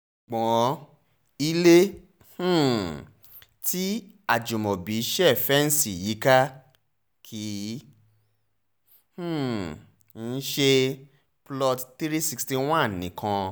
ṣùgbọ́n ilé um tí ajimobi ṣe fẹ́ǹsì yíká kì um í ṣe plot three hundred sixty one nìkan